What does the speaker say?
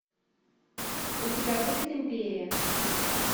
у тебя будет империя